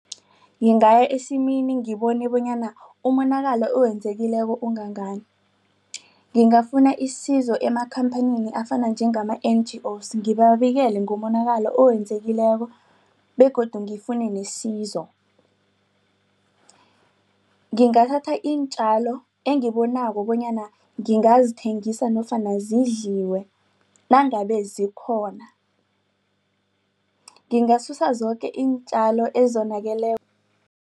Ngingaya esimini ngiboni bonyana umonakalo okwenzekileko ongangani ngingafuni isizo eemakhamphanini afana njengama-N_G_O_s ngibabikele ngomonakalo owenzekileko begodu ngifue nesizo. Ngingathatha iintjalo engibonako bonyana ngingazithengisa nofana zidliwe nangabe zikhona. Ngingasusa zoke iintjalo ezonakeleko